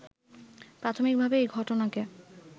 প্রাথমিকভাবে এ ঘটনাকে